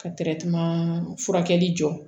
Ka furakɛli jɔ